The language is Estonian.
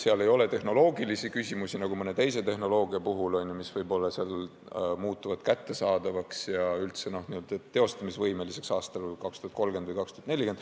Seal ei ole tehnoloogilisi küsimusi nagu mõne teise tehnoloogia puhul, mis võib-olla muutuvad kättesaadavaks ja üldse teostatavaks aastal 2030 või 2040.